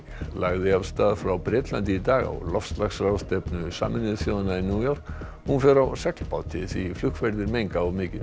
lagði af stað frá Bretlandi í dag á loftslagsráðstefnu Sameinuðu þjóðanna í New York hún fer á seglbát því flugferðir menga of mikið